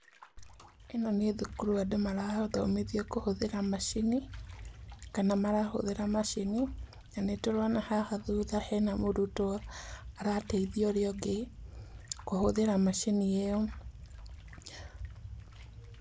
Ĩno nĩ thukuru andũ marathomithio kũhũthĩra macini kana marahũthĩra macini na nĩ tũrona haha thutha hena mũrutwo arateithia uria ũngĩ kũhũthĩra macini ĩo.